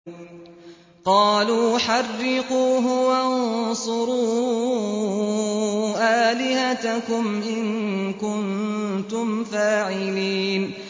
قَالُوا حَرِّقُوهُ وَانصُرُوا آلِهَتَكُمْ إِن كُنتُمْ فَاعِلِينَ